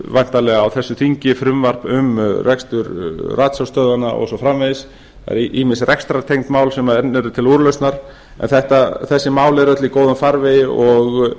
væntanlega á þessu þingi frumvarp um rekstur ratsjárstöðvanna og svo framvegis ýmis rekstrartengd mál sem enn eru til úrlausnar en þessi mál eru öll í góðum farvegi og